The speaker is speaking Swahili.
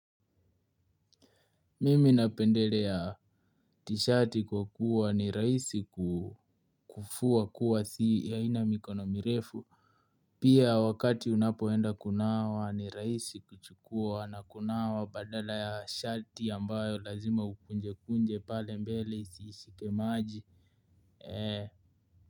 Mimi napendelea tishati kwa kuwa ni rahisi kufua kuwa si haina mikono mirefu pia wakati unapoenda kunawa ni rahisi kuchukua na kunawa badala ya shati ambayo lazima ukunjekunje pale mbele isishike maji ee.